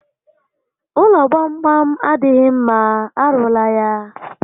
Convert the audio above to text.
Ụlọ gbam gbam adịghị mma, arụla ya